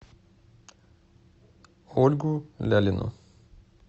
ольгу лялину